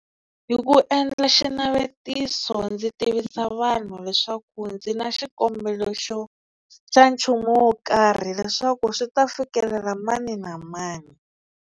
Hi ku endla xinavetiso ndzi tivisa vanhu leswaku ndzi na xikombelo xo xa nchumu wo karhi leswaku swi ta fikelela mani na mani.